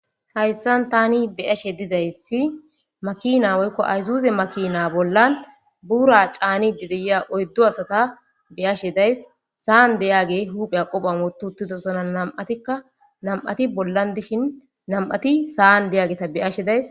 hayssan tani beyashe dizayssi makina woykko ayzuze makina bollan buura caanide deya oyddu asata beyashe days saan deyaage huuphea qophan wotuutidosona nam7atikka nam7ati bollan dishin nam7ati saan deyaageta beashe days